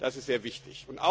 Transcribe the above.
das ist sehr wichtig.